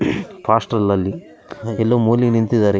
ಫಾಸ್ಟಲ್‌ ಅಲ್ಲಿ ಎಲ್ಲೋ ಮೂಲಿ ನಿಂತಿದ್ದಾರೆ .